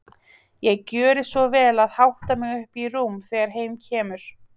Ég gjöri svo vel að hátta mig upp í rúm þegar heim kemur.